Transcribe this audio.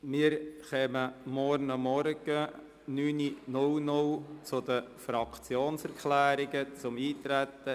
Wir beginnen morgen früh um 9.00 Uhr mit den Fraktionserklärungen betreffend das Eintreten.